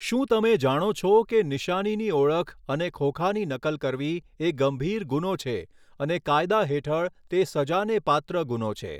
શું તમે જાણો છો કે નિશાનીની ઓળખ અને ખોખાની નકલ કરવી એ ગંભીર ગુનો છે અને કાયદા હેઠળ તે સજાને પાત્ર ગુનો છે.